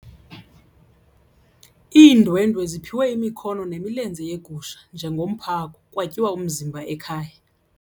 Iindwendwe ziphiwe imikhono nemilenze yegusha njengomphako kwatyiwa umzimba ekhaya.